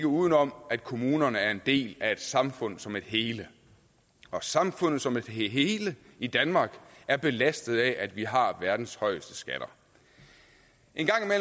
uden om at kommunerne er en del af et samfund som et hele og samfundet som et hele i danmark er belastet af at vi har verdens højeste skatter en